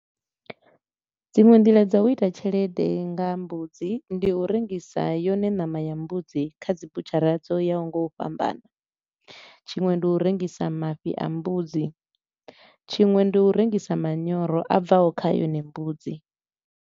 Dziṅwe nḓila dza u ita tshelede nga mbudzi, ndi u rengisa yone ṋama ya mbudzi kha dzi butshara dzo yaho nga u fhambana, tshiṅwe ndi u rengisa mafhi a mbudzi, tshiṅwe ndi u rengisa manyoro a bvaho kha yone mbudzi.